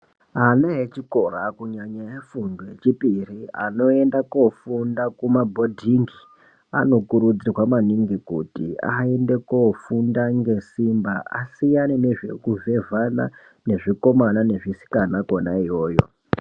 Ana echikora kunyanya efundo yechipiri anoenda kofunda kumabhodhingi anokurudzirwa maningi kuti aende kofunda ngesimba asiyane nezvekuvhevhama nezvikomana nezvisikana kwona iyoyo.